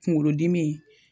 Kunkolodimi